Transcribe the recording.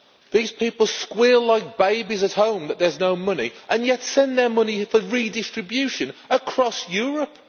These people squeal like babies at home that there's no money, and yet send their money for redistribution across Europe.